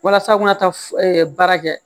Walasa u kana taa baara kɛ